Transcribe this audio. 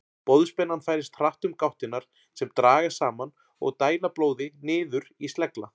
Boðspennan færist hratt um gáttirnar sem dragast saman og dæla blóði niður í slegla.